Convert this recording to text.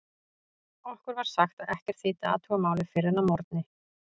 Okkur var sagt að ekkert þýddi að athuga málið fyrr en að morgni.